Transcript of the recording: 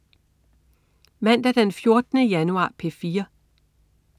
Mandag den 14. januar - P4: